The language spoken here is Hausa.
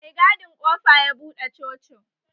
Mai gadin kofa ya buɗe cocin